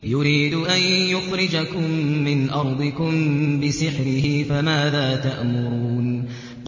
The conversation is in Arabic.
يُرِيدُ أَن يُخْرِجَكُم مِّنْ أَرْضِكُم بِسِحْرِهِ فَمَاذَا تَأْمُرُونَ